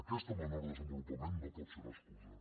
aquest menor desenvolupament no pot ser l’excusa